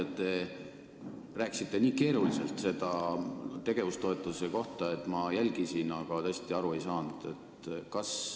Te rääkisite nii keeruliselt sellest tegevustoetusest, et ma küll jälgisin, aga aru tõesti ei saanud.